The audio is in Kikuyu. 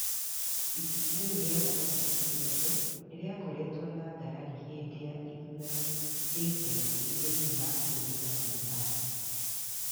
Ibuku rĩu rĩa kwandĩkithia andũ nĩ rĩakoretwo na ngarari hĩndĩ ya ithurano cia ica ikuhĩ thĩiniĩ wa bũrũri wa Zimbabwe.